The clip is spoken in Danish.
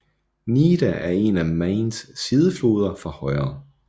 Nidda er en af Mains sidefloder fra højre